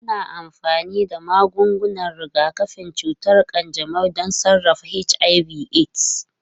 Ana amfani da magungunan rigakafin cutar kanjamau don sarrafa HIV/AIDS.